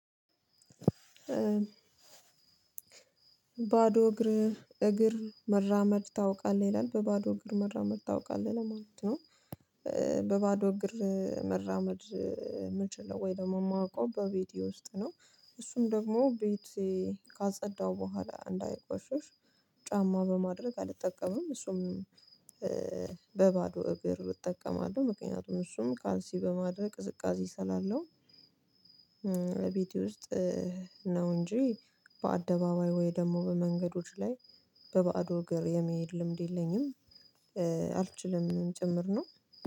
ባዶ እግር እግር መራመድ ታውቃለህ? ይላል በባዶ እግር መራመድ ታውቃለህ? ለማለት ነው በባዶ እግር መራመድ እምችለው ወይ ደግሞ እማውቀው በቤቴ ውስጥ ነው እሱም ደግሞ ቤቴ ካጸዳሁ በኋላ እንዳይቆሽሽ ጫማ በማድረግ አልጠቀምም እሱም በባዶ እግር እጠቀማለሁ ምክንያቱም እሱም ካልሲ በማድረግ ቅዝቃዜ ስላለው ቤቴ ውስጥ ነው እንጂ በአደባባይ ወይ ደግሞ በመንገዶች ላይ በባዶ እግር የመሄድ ልምድ የለኝም አልችልም ጭምር ነው